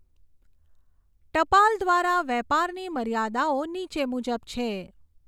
ટપાલ દ્વારા વેપારની મર્યાદાઓ નીચે મુજબ છે.